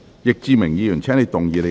易志明議員，請動議你的修正案。